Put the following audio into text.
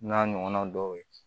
N'a ɲɔgɔnna dɔw ye